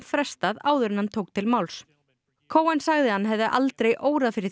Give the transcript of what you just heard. frestað áður en hann tók til máls sagði að hann hefði aldrei órað fyrir